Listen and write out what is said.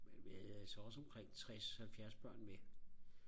men vi havde altså også omkring tres halvfjers børn med